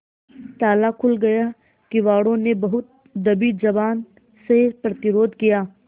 ताला खुल गया किवाड़ो ने बहुत दबी जबान से प्रतिरोध किया